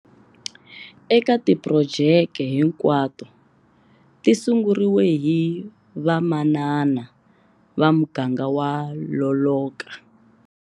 Eka tiphurojete hinkwato ti sunguriwile hi vamanana va muganga wa Loloka.